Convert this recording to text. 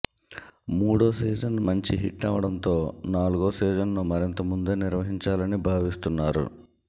మూడో సీజన్ మంచి హిట్ అవ్వడంతో నాలుగో సీజన్ ను మరింత ముందే నిర్వహించాలని భావిస్తున్నారు